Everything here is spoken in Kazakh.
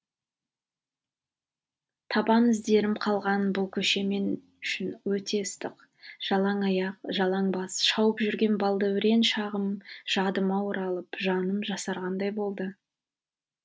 табан іздерім қалған бұл көше мен үшін өте ыстық жалаң аяқ жалаң бас шауып жүрген балдәурен шағым жадыма оралып жаным жасарғандай болды